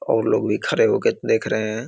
और लोग भी खड़े होके देख रहें हैं।